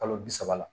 Kalo bi saba la